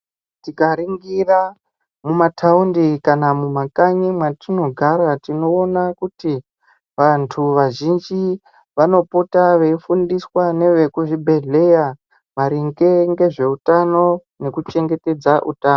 Tikaringira mumathaundi kana mumakanyi mwatinogara tinoona kuti vantu vazhinji vanopota veifundiswa ngevekuchibhedhleya maringe ngezveutano nekuchengetedza utano.